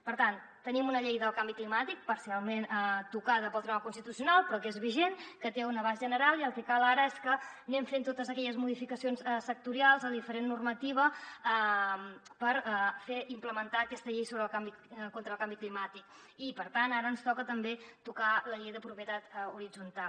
per tant tenim una llei del canvi climàtic parcialment tocada pel tribunal constitucional però que és vigent que té un abast general i el que cal ara és que anem fent totes aquelles modificacions sectorials de diferent normativa per implementar aquesta llei contra el canvi climàtic i per tant ara ens toca també tocar la llei de propietat horitzontal